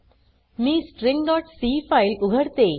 मी stringसी फाइल उघडते